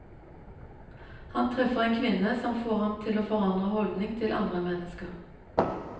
Han treffer en kvinne som får ham til å forandre holdning til andre mennesker.